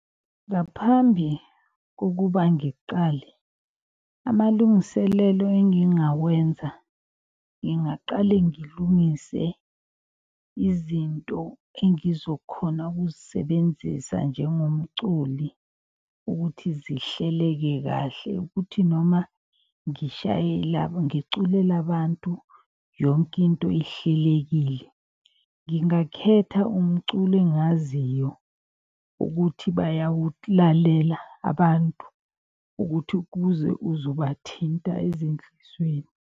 Ngaphambi kokuba ngiqale amalungiselelo engingawenza. Ngingaqale ngilungise izinto engizokhona ukuzisebenzisa njengomculi ukuthi zihleleke kahle. Ukuthi noma ngiculela abantu yonke into ihlelekile, ngingakhetha umculo engaziyo ukuthi bayawulalela abantu. Ukuthi kuze uzobathinta ezinhlizweni.